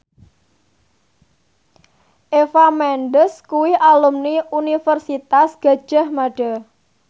Eva Mendes kuwi alumni Universitas Gadjah Mada